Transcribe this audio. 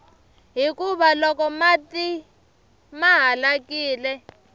hikuva mati loko ma halakile